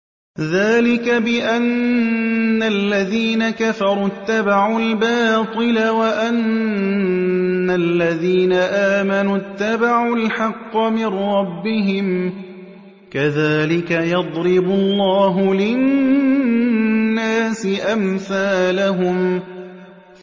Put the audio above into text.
ذَٰلِكَ بِأَنَّ الَّذِينَ كَفَرُوا اتَّبَعُوا الْبَاطِلَ وَأَنَّ الَّذِينَ آمَنُوا اتَّبَعُوا الْحَقَّ مِن رَّبِّهِمْ ۚ كَذَٰلِكَ يَضْرِبُ اللَّهُ لِلنَّاسِ أَمْثَالَهُمْ